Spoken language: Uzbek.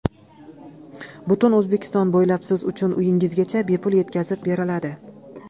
Butun O‘zbekiston bo‘ylab siz uchun uyingizgacha bepul yetkazib beriladi!